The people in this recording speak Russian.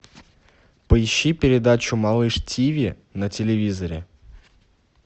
поищи передачу малыш тв на телевизоре